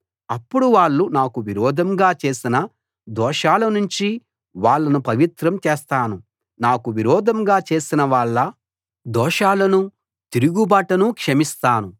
అప్పుడు వాళ్ళు నాకు విరోధంగా చేసిన దోషాల నుంచి వాళ్ళను పవిత్రం చేస్తాను నాకు విరోధంగా చేసిన వాళ్ళ దోషాలనూ తిరుగుబాటునూ క్షమిస్తాను